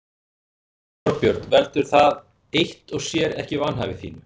Þorbjörn: Veldur það eitt og sér ekki vanhæfi þínu?